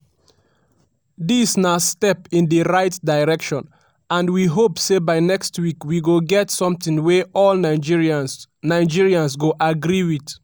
dis na step in di right direction and we hope say by next week we go get something wey all nigerians nigerians go agree wit.”